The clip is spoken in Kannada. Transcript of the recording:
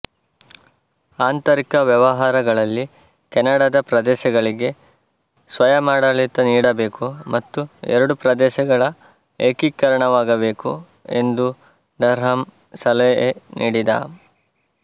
ಆಂತರಿಕ ವ್ಯವಹಾರಗಳಲ್ಲಿ ಕೆನಡದ ಪ್ರದೇಶಗಳಿಗೆ ಸ್ವಯಮಾಡಳಿತ ನೀಡಬೇಕು ಮತ್ತು ಎರಡು ಪ್ರದೇಶಗಳ ಏಕೀಕರಣವಾಗಬೇಕು ಎಂದು ಡರ್ಹಾಮ್ ಸಲಹೆ ನೀಡಿದ